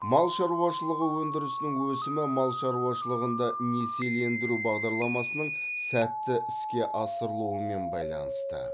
мал шаруашылығы өндірісінің өсімі мал шаруашылығында несиелендіру бағдарламасының сәтті іске асырылуымен байланысты